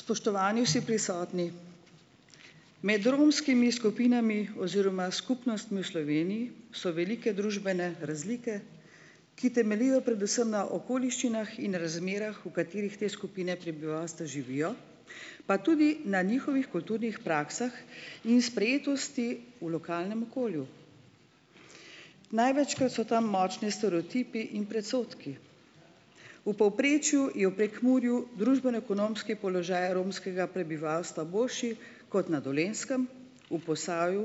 Spoštovani vsi prisotni. Med romskimi skupinami oziroma skupnostmi v Sloveniji so velike družbene razlike, ki temeljijo predvsem na okoliščinah in razmerah, v katerih te skupine prebivalstva živijo pa tudi na njihovih kulturnih praksah in sprejetosti v lokalnem okolju. Največkrat so tam močni stereotipi in predsodki. V povprečju je v Prekmurju družbeno-ekonomski položaj romskega prebivalstva boljši kot na Dolenjskem, v Posavju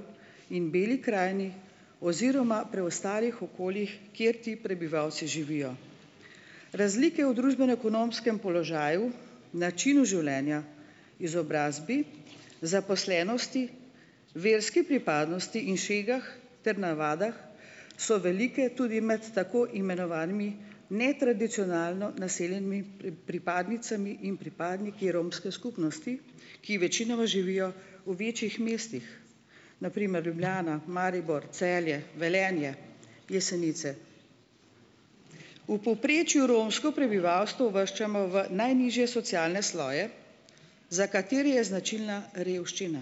in Beli krajini oziroma preostalih okoljih, kjer ti prebivalci živijo. Razlike v družbeno-ekonomskem položaju, načinu življenja, izobrazbi, zaposlenosti, verski pripadnosti in šegah ter navadah so velike tudi med tako imenovanimi netradicionalno naseljenimi pripadnicami in pripadniki romske skupnosti, ki večinoma živijo v večjih mestih, na primer: Ljubljana, Maribor, Celje, Velenje, Jesenice. V povprečju romsko prebivalstvo uvrščamo v najnižje socialne sloje za katere je značilna revščina,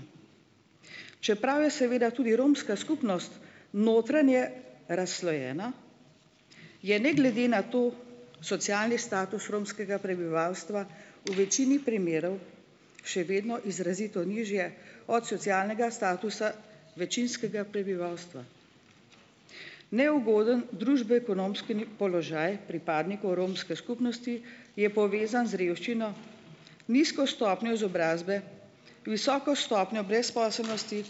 čeprav je seveda tudi romska skupnost notranje razslojena, je ne glede na to socialni status romskega prebivalstva v večini primerov še vedno izrazito nižje od socialnega statusa večinskega prebivalstva. Neugoden družbeno-ekonomski položaj pripadnikov romske skupnosti je povezan z revščino. Nizko stopnjo izobrazbe, visoko stopnjo brezposelnosti,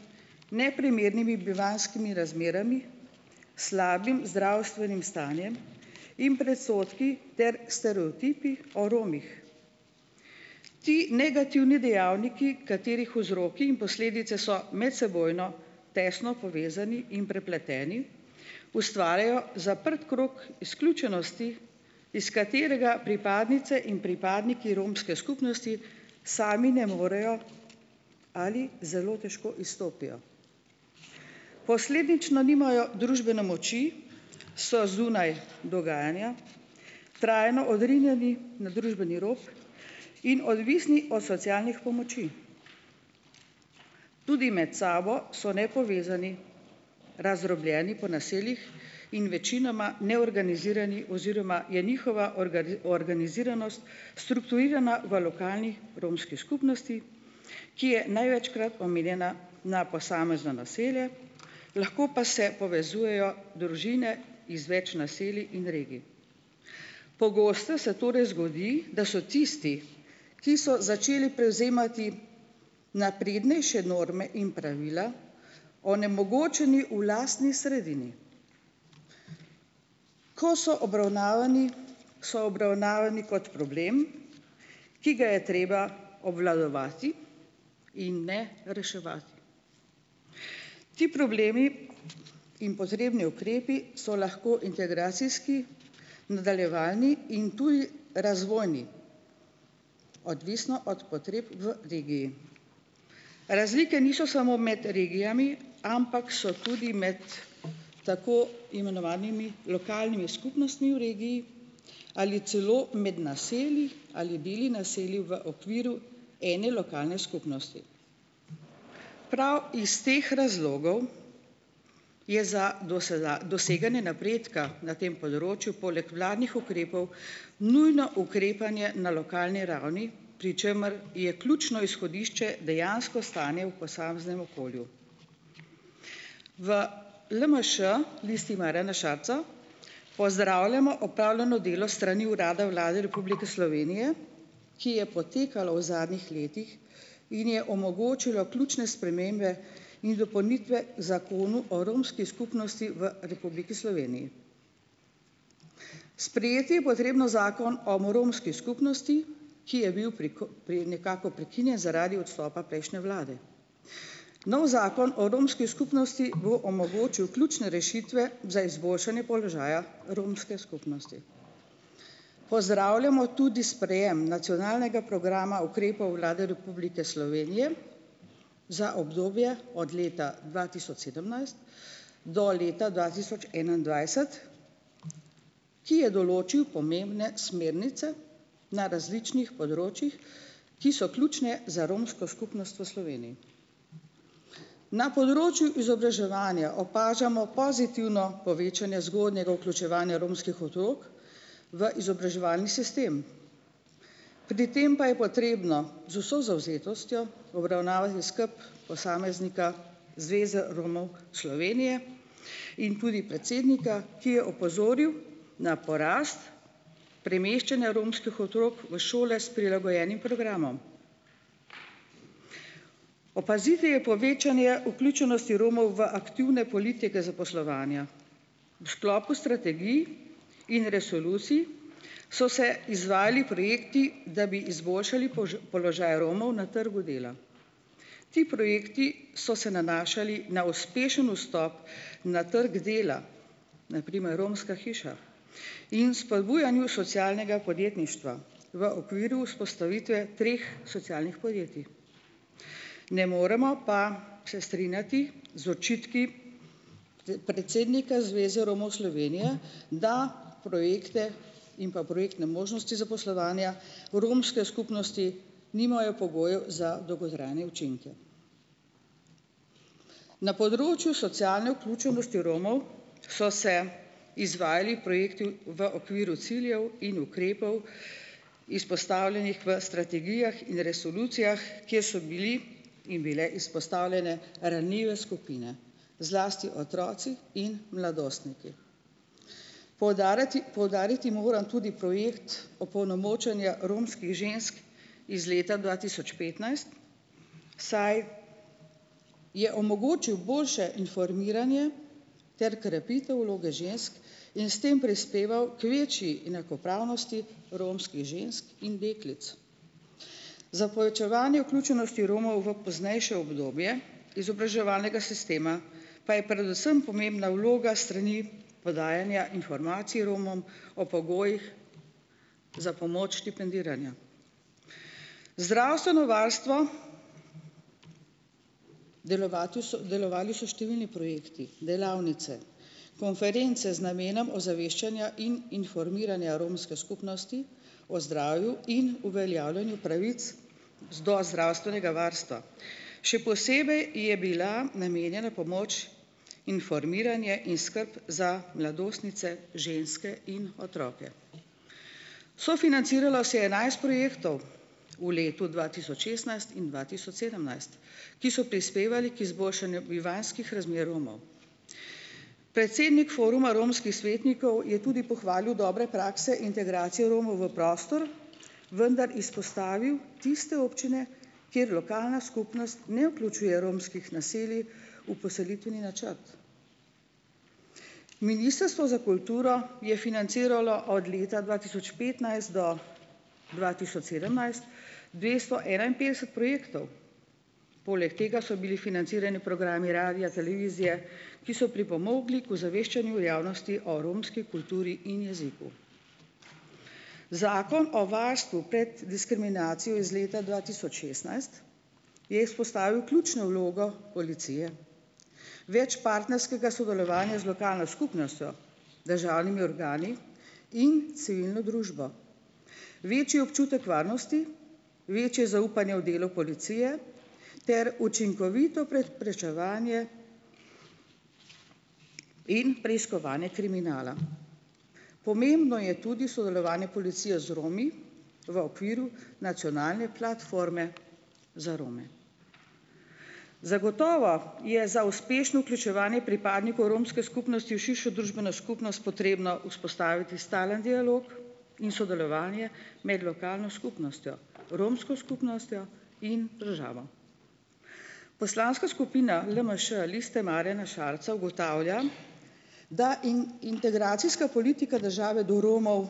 neprimernimi bivanjskimi razmerami, slabim zdravstvenim stanjem in predsodki ter stereotipi o Romih. Ti negativni dejavniki, katerih vzroki in posledice so medsebojno tesno povezani in prepleteni, ustvarjajo zaprt krog izključenosti, iz katerega pripadnice in pripadniki romske skupnosti sami ne morejo ali zelo težko izstopijo. Posledično nimajo družbene moči, so zunaj dogajanja, trajno odrinjeni na družbeni rok in odvisni od socialnih pomoči. Tudi med sabo so nepovezani, razdrobljeni po naseljih in večinoma neorganizirani oziroma je njihova organiziranost strukturirana v lokalnih romski skupnosti, ki je največkrat omenjena na posamezno naselje, lahko pa se povezujejo družine iz več naselij in regij. Pogosto se torej zgodi, da so tisti, ki so začeli prevzemati naprednejše norme in pravila onemogočeni v lastni sredini. Ko so obravnavani, so obravnavani kot problem, ki ga je treba obvladovati in ne reševati. Ti problemi in potrebni ukrepi so lahko integracijski, nadaljevalni in tudi razvojni, odvisno od potreb v regiji. Razlike niso samo med regijami, ampak so tudi med tako imenovanimi lokalnimi skupnostmi v regiji ali celo med naselji ali deli naselij v okviru ene lokalne skupnosti. Prav iz teh razlogov je za doseganje napredka na tem področju poleg vladnih ukrepov nujno ukrepanje na lokalni ravni, pri čemer je ključno izhodišče dejansko stanje v posameznem okolju. V LMŠ, Listi Marjana Šarca, pozdravljamo opravljano delo s strani urada Vlade Republike Slovenije, ki je potekalo v zadnjih letih in je omogočilo ključne spremembe in dopolnitve Zakonu o romski skupnosti v Republiki Sloveniji. Sprejeti je potrebno Zakon o romski skupnosti, ki je bil pri pri nekako prekinjen zaradi odstopa prejšnje vlade. Novi Zakon o romski skupnosti bo omogočil ključne rešitve za izboljšanje položaja romske skupnosti. Pozdravljamo tudi sprejem nacionalnega programa ukrepov Vlade Republike Slovenije za obdobje od leta dva tisoč sedemnajst do leta dva tisoč enaindvajset, ki je določil pomembne smernice na različnih področjih, ki so ključne za romsko skupnost v Sloveniji. Na področju izobraževanja opažamo pozitivno povečanje zgodnjega vključevanja romskih otrok v izobraževalni sistem. Pri tem pa je potrebno z vso zavzetostjo obravnavati skupaj posameznika, zveze Romov Slovenije in tudi predsednika, ki je opozoril na porast premeščanja romskih otrok v šole s prilagojenim programom. Opaziti je povečanje vključenosti Romov v aktivne politike zaposlovanja. V sklopu strategij in resolucij so se izvajali projekti, da bi izboljšali položaj Romov na trgu dela. Ti projekti so se nanašali na uspešen vstop na trg dela, na primer Romska hiša, in spodbujanju socialnega podjetništva v okviru vzpostavitve treh socialnih podjetij. Ne moremo pa se strinjati z očitki predsednika Zveze Romov Slovenije, da projekte in pa projektne možnosti zaposlovanja romske skupnosti nimajo pogojev za dolgotrajne učinke. Na področju socialne vključenosti Romov so se izvajali projekti v okviru ciljev in ukrepov, izpostavljenih v strategijah in resolucijah, kjer so bili in bile izpostavljene ranljive skupine, zlasti otroci in mladostniki. Poudariti, poudariti moram tudi projekt opolnomočenja romskih žensk iz leta dva tisoč petnajst, saj je omogočil boljše informiranje ter krepitev vloge žensk in s tem prispeval k večji enakopravnosti romskih žensk in deklic. Za povečevanje vključenosti Romov v poznejše obdobje izobraževalnega sistema pa je predvsem pomembna vloga s strani podajanja informacij Romom o pogojih za pomoč štipendiranja. Zdravstveno varstvo, delovati so, delovali so številni projekti, delavnice, konference z namenom ozaveščanja in informiranja romske skupnosti o zdravju in uveljavljanju pravic do zdravstvenega varstva. Še posebej je bila namenjena pomoč informiranje in skrb za mladostnice, ženske in otroke. Sofinanciralo se je enajst projektov v letu dva tisoč šestnajst in dva tisoč sedemnajst, ki so prispevali k izboljšanju bivanjskih razmer Romov. Predsednik Foruma romskih svetnikov je tudi pohvalil dobre prakse integracije Romov v prostor, vendar izpostavil tiste občine, kjer lokalna skupnost ne vključuje romskih naselij v poselitveni načrt. Ministrstvo za kulturo je financiralo od leta dva tisoč petnajst do dva tisoč sedemnajst dvesto enainpetdeset projektov, poleg tega so bili financirani programi radija, televizije, ki so pripomogli k ozaveščanju javnosti o romski kulturi in jeziku. Zakon o varstvu pred diskriminacijo iz leta dva tisoč šestnajst je izpostavil ključno vlogo policije, več partnerskega sodelovanja z lokalno skupnostjo, državnimi organi in civilno družbo, večji občutek varnosti, večje zaupanje v delo policije ter učinkovito prečevanje in preiskovanje kriminala. Pomembno je tudi sodelovanje policije z Romi v okviru nacionalne platforme za Rome. Zagotovo je za uspešno vključevanje pripadnikov romske skupnosti v širšo družbeno potrebno vzpostaviti stalen dialog in sodelovanje med lokalno skupnostjo, romsko skupnostjo in državo. Poslanska skupina LMŠ, Liste Marjana Šarca, ugotavlja, da integracijska politika države do Romov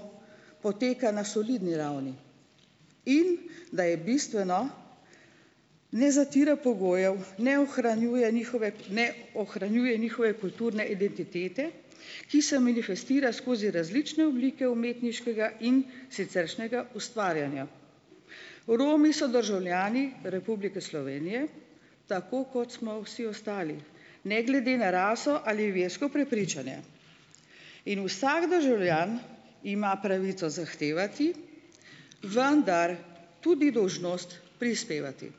poteka na solidni ravni in da je bistveno ne zatira pogojev, ne ohranjuje njihove, ne ohranjuje njihove kulturne identitete, ki se manifestira skozi različne oblike umetniškega in siceršnjega ustvarjanja. Romi so državljani Republike Slovenije, tako kot smo vsi ostali, ne glede na raso ali versko prepričanje, in vsako državljan ima pravico zahtevati, vendar tudi dolžnost prispevati.